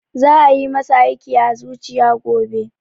Za a yi masa aiki a zuciya gobe